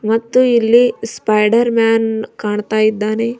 ಮತ್ತು ಇಲ್ಲಿ Spider Man ಕಾಣ್ತಾ ಇದ್ದಾನೆ.